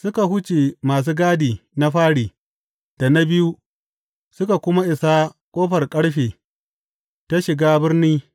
Suka wuce masu gadi na fari da na biyu, suka kuma isa ƙofar ƙarfe ta shiga birni.